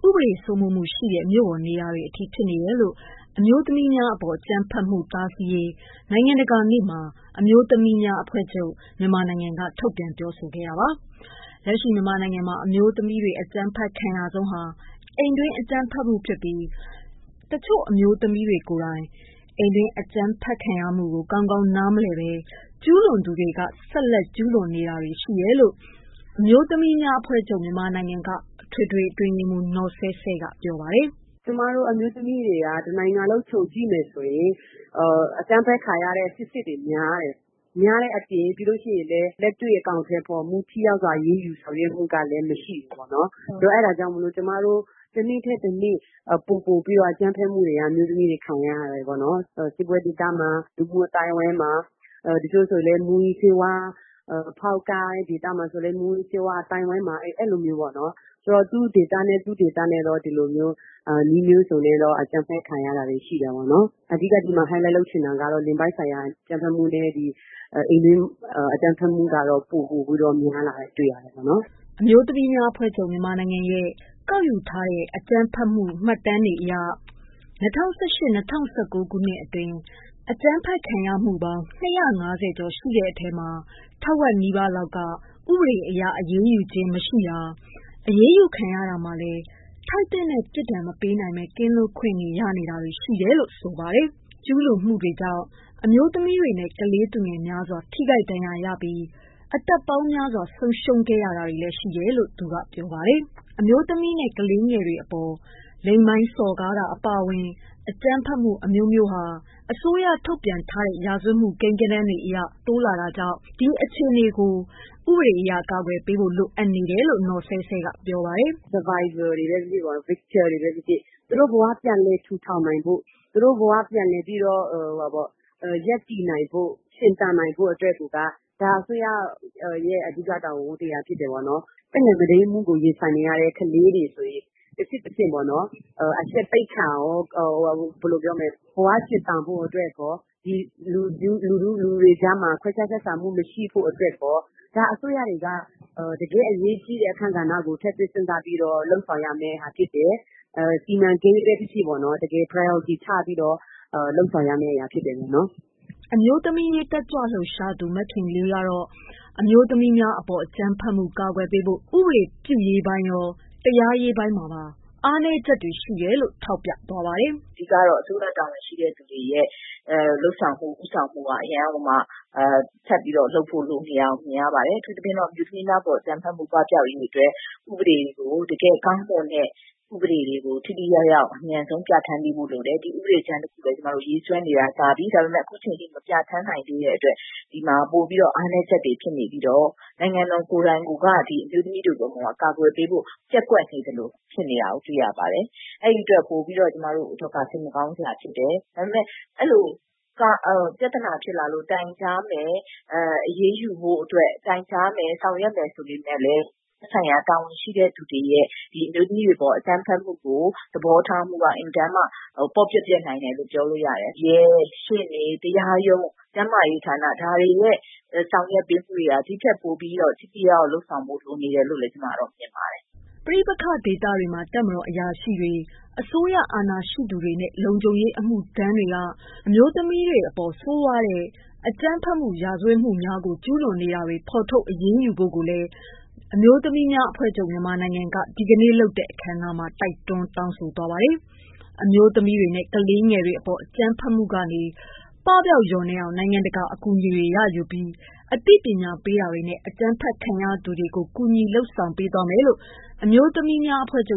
ပဒေ စိုးမိုးမှုရှိတဲ့ မြို့ပေါ်နေရာတွေအထိ ဖြစ်နေတယ်လို့ အမျိုးသမီးများအပေါ်အကြမ်းဖက်မှု တားဆီးရေး နိုင်ငံတကာနေ့မှာ အမျိုးသမီးများအဖွဲ့ချုပ် က ထုတ်ပြန်ပြောဆိုခဲ့တာပါ။ လက်ရှိ မြန်မာနိုင်ငံမှာ အမျိုးသမီးတွေ အကြမ်းဖက်ခံရဆုံးဟာ အိမ်တွင်း အကြမ်းဖက်မှု ဖြစ်ပြီး၊ တချို့သော အမျိုးသမီးတွေ ကိုယ်တိုင် အိမ်တွင်းအကြမ်းဖက်ခံရမှုကို ကောင်းကောင်းနားမလည်ပဲ ကျူးလွန်သူတွေလည်း ဆက်လက်ကျူးလွန်နေတာရှိတယ်လို့ အမျိုးသမီးများအဖွဲ့ချုပ် က အထွေထွေတွင်းရေးမှူး နော်ဆဲဆဲက ပြောပါတယ်။ “အမျိုးသမီးတွေက တနိုင်ငံလုံး ခြုံကြည့်မယ်ဆိုရင် အကြမ်းဖက်ခံရတဲ့ အကြောင်းတွေ များတယ်ပေါ့နော်။ များတဲ့အပြင် လက်တွေ့အကောင်အထည်ဖော်မှု ၊ ထိရောက်စွာအရေးယူဆောင်ရွက်မှုကလည်း မရှိဘူးပေါ့နော်။ ဆိုတော့ အဲဒါကြောင့် ကျမတို့ တနေ့ထက် တနေ့ ပိုပိုပြီးတော့ အကြမ်းဖက်မှုတွေက အမျိုးသမီးတွေ ခံရတယ်ပေါ့နော်။ စစ်ပွဲဒေသမှာ ၊ လူမှုအသိုင်းအဝိုင်းမှာ တချို့ဆိုရင်လည်း မူးယစ်ဆေးဝါးအသိုင်းအဝိုင်းမှာ အဲလိုမျိုးပေါ့နော် သူ့ဒေသနဲ့ သူ ဒီလိုမျိုး နည်းမျိုးစုံနဲ့တော့ အကြမ်းဖက် ခံရတာရှိတယ်။ အဓိက ဒီမှာ Highlight လုပ်ချင်တာကတော့ လိင်ပိုင်းဆိုင်ရာအကြမ်းဖက်မှုနဲ့ အိမ်တွင်းအကြမ်းဖက်ခံရတာတွေ ပိုပြီးများလာတာ တွေ့ရတယ်။” အမျိုးသမီးများအဖွဲ့ချုပ် ရဲ့ကောက်ယူထားတဲ့ အကြမ်းဖက်မှုမှတ်တမ်းအရ ၂၀၁၈-၂၀၁၉ ခုနှစ်အတွင်း အကြမ်းဖက်ခံရမှု အမှုပေါင်း ၂၅၀ကျော်ရှိတဲ့အထဲမှာ ထက်ဝက်နီးပါးလောက်က ဥပဒေအရ အရေးယူခံရခြင်းမရှိတာ၊ အရေးယူခံရတာမှာလည်း ထိုက်သင့်တဲ့ ပြစ်ဒဏ် မပေးနိုင်ဘဲ ကင်းလွတ်ခွင့်ရတာတွေ ရှိနေတယ်လို့ ဆိုပါတယ်။ ကျူးလွန်မှုတွေကြောင့် အမျိုးသမီး တွေနဲ့ ကလေးသူငယ်များစွာ ထိခိုက်ဒဏ်ရာရှိပြီး အသက်ပေါင်းများစွာ သေဆုံးခဲ့ရတာတွေရှိနေတယ်လို့ ဆိုပါတယ်။ အမျိုးသမီးနဲ့ အမျိုးသမီးငယ်တွေအပေါ် လိင်ပိုင်းစော်ကားတာအပါအဝင် အကြမ်းဖက်မှုအမျိုးမျိုးဟာ အစိုးရ ထုတ်ပြန်တဲ့ ရာဇဝတ်မှုကိန်းဂဏန်းတွေအရ တိုးလာတာကြောင့် ဒီအခြေအနေကို ဥပဒေအရ ကာကွယ်ပေးဖို့ လိုအပ်နေတယ်လို့ နော်ဆဲဆဲက ပြောပါတယ်။ “Survivor တွေပဲ ဖြစ်ဖြစ် Victims တွေပဲ ဖြစ်ဖြစ်ပေ့ါနော် သူတို့ဘ၀ ပြန်လည်ထူထောင်နိုင်ဖို့ ၊ သူတို့ဘ၀ ပြန်လည်ရပ်တည်နိုင်ဖို့အတွက်က အစိုးရရဲ့ အဓိက တာဝန် ဝတ္တရားဖြစ်တယ်။ သက်ငယ် မုဒိမ်းမှုကိုရင်ဆိုင်နေရတဲ့ ကလေးငယ်တွေဆိုရင် တဆင့်တဆင့်ပေါ့နော် အရှက်သိက္ခာရော ၊ ဘ၀ ရှင်သန်ဖို့အတွက်ရော ၊ ဒီလူတွေကြားမှာ ခွဲခြားဆက်ဆံဖို့မရှိဖို့အတွက်ရော၊ ဒါအစိုးရတွေက တကယ့်အရေးကြီးတဲ့ အခန်းကဏ္ဍကို ထည့်သွင်းစဉ်းစားပြီးတော့ လုပ်ဆောင်ရမှာဖြစ်တယ်။ စီမံကိန်း ဖြစ်ဖြစ် တကယ် priority ချပြီးတော့ လုပ်ဆောင်ရမယ့်အရာ ဖြစ်တယ်။” အမျိုးသမီး အရေးတက်ကြွလှုပ်ရှားသူ မခင်လေးကတော့ အမျိုးသမီးများအပေါ် အကြမ်းဖက်မှု ကာကွယ်ပေးဖို့ ဥပဒေပြုရေးပိုင်းရော တရားရေးပိုင်းမှာပါ အားနည်းချက်တွေရှိနေတယ်လို့ ထောက်ပြပါတယ်။ “ အဓိကတော့ အစိုးရတာဝန်ရှိသူတွေရဲ့ လုပ်ဆောင်မှု ၊ ဦးဆောင်မှုက အရမ်းကို ထပ်ပြီးလုပ်ဖို့ လိုနေတာမြင်ရပါတယ်။ အထူးသဖြင့် အမျိုးသမီးများအပေါ် အကြမ်းဖက်မှု ပပြောက်ရေးအတွက် တကယ်ကောင်းမွန်တဲ့ဥပဒေတွေကို အမြန်ဆုံး ထိထိရောက်ရောက် ပြဌာန်းပေးဖို့လိုတယ်။ ဒီ ဥပဒေကြမ်းတခုလည်း ကျမတို့ ရေးဆွဲနေတာကြာပြီ ဒါပေမယ့် အခုအချိန်အထိ မပြဌာန်းနိုင်သေးတဲ့အတွက် ဒီမှာ ပိုပြီးတော့ အားနည်းချက်တွေ ဖြစ်နေပြီးတော့ နိုင်ငံတော်ကိုယ်တိုင်က အမျိုးသမီးတွေကို အကာအကွယ်ပေးဖို့ ပျက်ကွက်နေသလို ဖြစ်နေတာကိုတွေ့ရတယ် ။အဲဒီအတွက် ပိုပြီးတော့ ကျမတို့အတွက်က စိတ်မကောင်းစရာဖြစ်တယ်။ ဒါပေမယ့် အဲလို ပြဿနာဖြစ်လာလို့ တိုင်ကြားမယ် အရေးယူဖို့အတွက် ဆောင်ရွက်မယ်ဆိုပေမယ့်လည်း သက်ဆိုင်ရာ တာဝန်ရှိသူတွေရဲ့ အမျိုးသမီးတွေအပေါ် အကြမ်းဖက်မှုကို သဘောထားတာက အင်မတန်မှ ပေါ့ပျက်နိုင်တယ်လို့ ပြောလို့ရပါတယ်။ တကယ့် ရှေ့နေ ၊ တရားရုံး ၊ ကျန်းမာရေးဌာန ဒါတွေရဲ့ ဆောင်ရွက်ပေးမှုက ဒီထက်ပိုပြီး ထိထိရောက်ရောက်လုပ်ဆောင်ဖို့ လိုနေတယ်လို့ ကျမတို့ မြင်ပါတယ်။” ပဋိပက္ခဒေသတွေမှာ တပ်မတော်အထက်အရာရှိကြီးများ၊ အစိုးရအာဏာရှိသူများ နဲ့လုံခြုံရေးအမှုထမ်းတွေက အမျိုးသမီးတွေအပေါ် ဆိုးရွားတဲ့ အကြမ်းဖက်မှု ရာဇဝတ်မှုများကို ကျူးလွန်နေတာတွေ ဖော်ထုတ်အရေးယူဖို့ကိုလည်း အမျိုးသမီးများအဖွဲ့ချုပ် ဒီကနေ့လုပ်တဲ့ အခမ်းအနားမှာ တိုက်တွန်းတောင်းဆိုပါတယ်။ အမျိုးသမီးတွေနဲ့ ကလေးတွေ အကြမ်းဖက်မှုကနေ ပပျောက်လျော့နည်းအောင် နိုင်ငံတကာအကူအညီတွေ ရယူပြီး အသိပညာပေးတာတွေနဲ့ အကြမ်းဖက်ခံ ရသူတွေကို ကူညီပေးတာတွေလုပ်သွားမယ်လို့ အမျိုးသမီးများအဖွဲ့ချုပ်